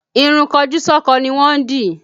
Ìrun kojúsọ́kọ ni wọ́n dì